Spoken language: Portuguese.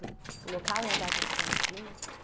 o local e a data de seu nascimento?